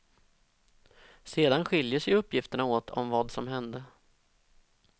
Sedan skiljer sig uppgifterna åt om vad som hände.